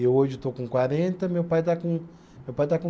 Eu hoje estou com quarenta, meu pai está com, meu pai está com